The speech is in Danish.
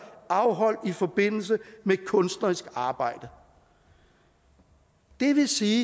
afholdt i forbindelse med kunstnerisk arbejde det vil sige